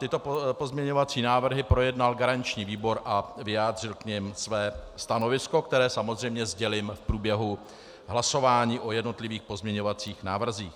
Tyto pozměňovací návrhy projednal garanční výbor a vyjádřil k nim své stanovisko, které samozřejmě sdělím v průběhu hlasování o jednotlivých pozměňovacích návrzích.